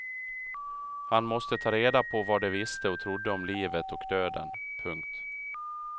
Han måste ta reda på vad de visste och trodde om livet och döden. punkt